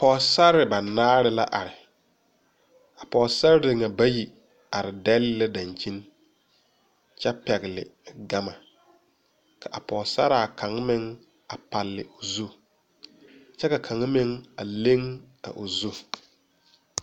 Pɔgɔsare banaare la are. A pɔgɔsare na bayi are dɛle la dankyen kyɛ pɛgle gama. Ka a pɔgɔsaraa kang meŋ a pale o zu. Kyɛ ka kang meŋ a leŋ a o zu